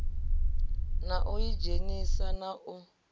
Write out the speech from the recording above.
na u idzhenisa na u